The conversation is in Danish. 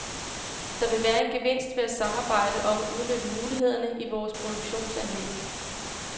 Der vil være en gevinst ved at samarbejde om at udnytte mulighederne i vores produktionsanlæg.